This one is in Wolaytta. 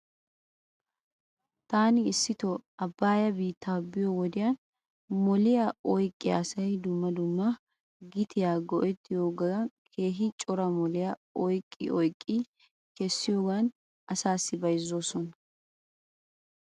Taani issito abaayaa biita biyoo wodiyan moliyaa oyqqiyaa asay dumma dumma gitiyaa go'etiyoogan keehi cora miliyaa oyqqi oyqqidi kessiyoogan asaasi bayzoosona.